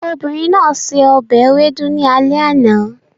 Obìnrin náà se ọbẹ̀ ewedu ní alẹ́ àná